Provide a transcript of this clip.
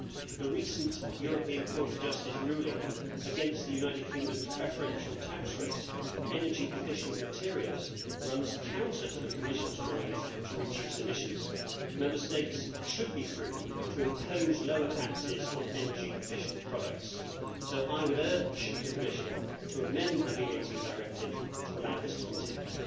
The recent European Court of Justice ruling against the United Kingdom's preferential tax rate for energy efficient materials runs counter to the Commission's drive to reduce emissions. Member States should be free to impose lower taxes on energy efficient products, so I would urge the Commissioner to amend the VAT Directive to allow this to continue.